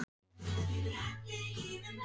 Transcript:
Hvaða stöðu hefur þú verið að spila?